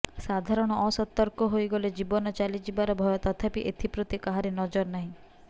ସାଧାରଣ ଅସତର୍କ ହୋଇଗଲେ ଜୀବନ ଚାଲି ଯିବାର ଭୟ ତଥାପି ଏଥିପ୍ରତି କାହାରି ନଜରନାହିଁ